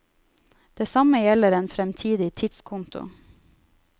Det samme gjelder en fremtidig tidskonto.